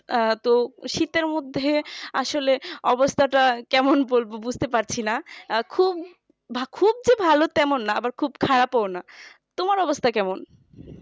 আহ তো শীতের মধ্যে আসলে অবস্থাটা কেমন বলবো বুঝতে পারছিনা খুব খুব ভালো তা না আবার খুব খারাপও না তোমার অবস্থা কেমন